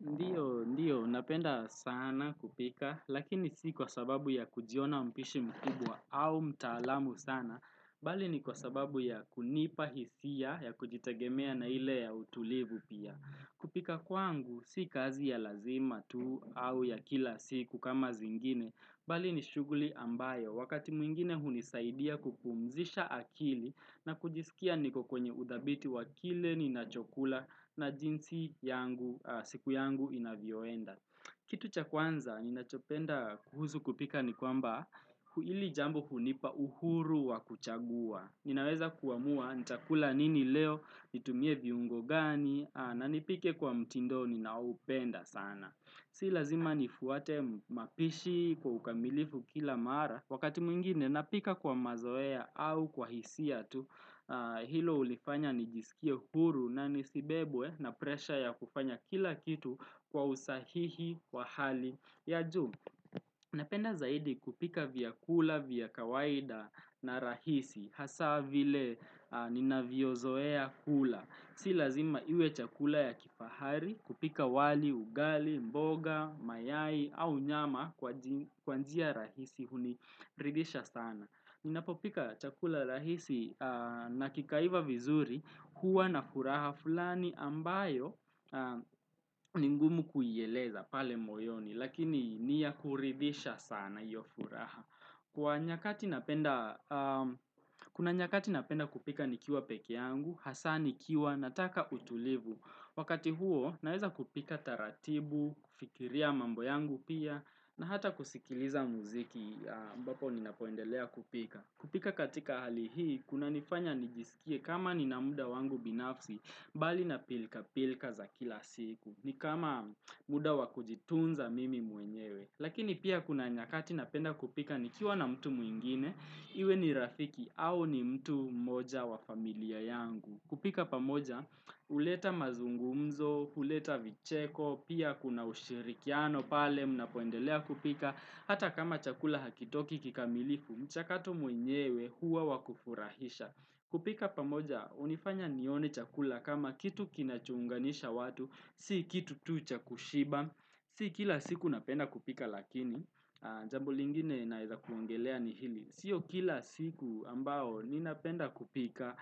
Ndiyo, ndiyo, napenda sana kupika, lakini si kwa sababu ya kujiona mpishi mkubwa au mtaalamu sana, bali ni kwa sababu ya kunipa hisia ya kujitagemea na ile ya utulivu pia. Kupika kwangu, si kazi ya lazima tuu au ya kila siku kama zingine, bali ni shughuli ambayo, wakati mwingine hunisaidia kupumzisha akili na kujisikia nikokwenye udhabiti wakile ninachokula na jinsi yangu siku yangu inavyoenda. Kitu cha kwanza ninachopenda kuhuzu kupika ni kwamba hili jambo hunipa uhuru wa kuchagua. Ninaweza kuamua nchakula nini leo nitumie viungo gani na nipike kwa mtindoni naupenda sana. Si lazima nifuate mapishi kwa ukamilifu kila mara, wakati mwingine napika kwa mazoea au kwa hisia tu, hilo ulifanya nijisikia huru na nisibebwe na presha ya kufanya kila kitu kwa usahihi wa hali. Ya juu, napenda zaidi kupika vyakula, vi kawaida na rahisi, hasa vile ninavyozoea kula. Si lazima iwe chakula ya kifahari kupika wali, ugali, mboga, mayai au nyama kwa njia rahisi huniridisha sana. Ninapopika chakula rahisi na kikaiva vizuri huwa na furaha fulani ambayo ningumu kuyeleza pale moyoni. Lakini niyakuridisha sana hiyo furaha Kuna nyakati napenda kupika nikiwa peke yangu hasaa ni kiwa nataka utulivu Wakati huo naiza kupika taratibu kufikiria mambo yangu pia na hata kusikiliza muziki ambapo ni napoendelea kupika kupika katika hali hii Kuna nifanya nijisikie kama ni na muda wangu binafsi Bali na pilka pilka za kila siku ni kama muda wakujitunza mimi muenyewe. Lakini pia kuna nyakati napenda kupika ni kiwa na mtu mwingine, iwe ni rafiki au ni mtu moja wa familia yangu. Kupika pamoja, uleta mazungumzo, uleta vicheko, pia kuna ushirikiano pale, mna poendelea kupika. Hata kama chakula hakitoki kikamilifu, mchakatu muenyewe huwa wakufurahisha. Kupika pamoja, unifanya nione chakula kama kitu kinachunganisha watu, si kitu tucha kushiba Si kila siku napenda kupika lakini Jambo lingine naitha kuangelea ni hili sio kila siku ambao ni napenda kupika